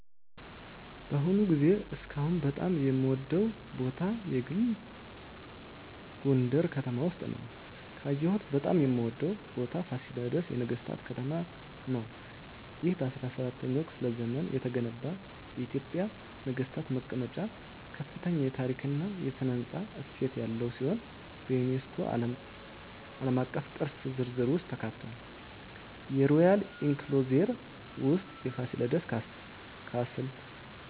በአሁኑ ጊዜ እስካሁን በጣም የምወደዉ ቦታ የግል ጎንደረ ከተማ ውስጥ ነዉ። ካየሁት በጣም የምወደው ቦታ ፋሲለደስ የነገሥታት ከተማ ነው። ይህ በ17ኛው ክፍለ ዘመን የተገነባ የኢትዮጵያ ነገሥታት መቀመጫ ከፍተኛ የታሪክ እና ሥነ ሕንፃ እሴት ያለው ሲሆን፣ በዩኔስኮ ዓለም አቀፍ ቅርስ ዝርዝር ውስጥ ተካትቷል። የሮያል ኢንክሎዜር ውስጥ የፋሲለደስ ካስል፣